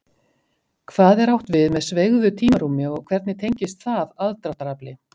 Hvað er átt við með sveigðu tímarúmi og hvernig tengist það aðdráttarafli?